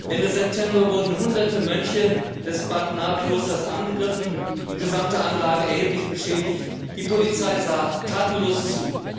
Ende September wurden Hunderte Mönche des Klosters Bat Nha angegriffen, die gesamte Anlage wurde erheblich beschädigt, die Polizei sah tatenlos zu.